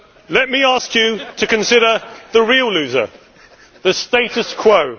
Let me ask you to consider the real loser the status quo.